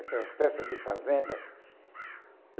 Aquelas peças de fazenda.